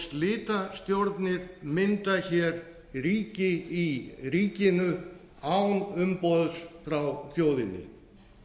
slitastjórnir mynda ríki í ríkinu án umboðs frá þjóðinni